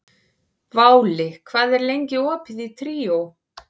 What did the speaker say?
Váli, hvað er lengi opið í Tríó?